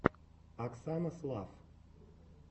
оксана слафф